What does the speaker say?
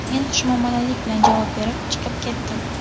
Men xushmuomalalik bilan javob berib, chiqib ketdim.